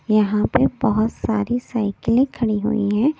यहाँ पे बहुत सारी साइकिलें खड़ी हुई हैं।